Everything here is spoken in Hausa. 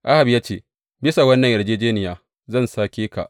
Ahab ya ce, Bisa wannan yarjejjeniya zan sake ka.